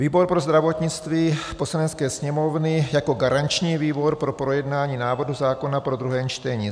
Výbor pro zdravotnictví Poslanecké sněmovny jako garanční výbor po projednání návrhu zákona po druhém čtení: